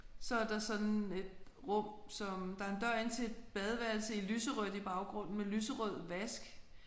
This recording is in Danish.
Så er der sådan et rum som der er en dør ind til et badeværelse i lyserødt i baggrunden med lyserød vask